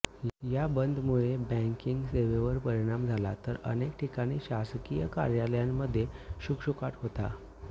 या बंदमुळे बॅंकिंग सेवेवर परिणाम झाला तर अनेक ठिकाणी शासकीय कार्यालयांमध्ये शुकशुकाट होता